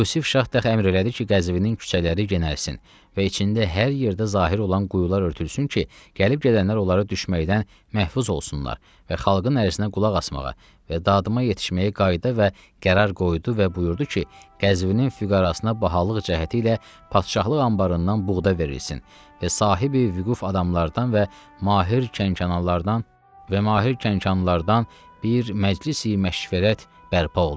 Yusif Şah Təx əmr elədi ki, Qəzvinin küçələri gənəlsin və içində hər yerdə zahir olan quyular örtülsün ki, gəlib-gedənlər onlara düşməkdən məhfuz olsunlar və xalqın ərzinə qulaq asmağa və dadıma yetişməyə qaidə və qərar qoydu və buyurdu ki, Qəzvinin füqarasına bahalıq cəhəti ilə Padşahlıq anbarından buğda verilsin və sahibi vüquf adamlardan və mahir Kənanlardan və mahir Kənanlardan bir məclis-i məşvərət bərpa olub.